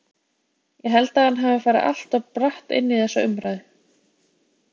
Ég held að hann hafi farið allt of bratt inn í þessa umræðu.